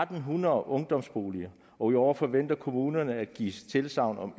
hundrede ungdomsboliger og i år forventer kommunerne at give tilsagn om